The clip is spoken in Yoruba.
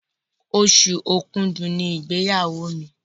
Oṣù Òkúdu ní igbeyawo mí.